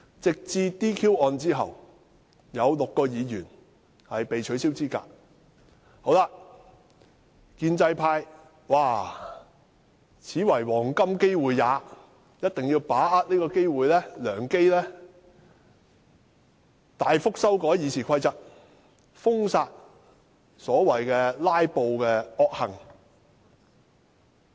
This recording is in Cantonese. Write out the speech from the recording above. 直至 "DQ" 案後，有6名議員被取消資格，建制派便認為這是黃金機會，必須把握良機大幅修訂《議事規則》，封殺所謂的"拉布"惡行。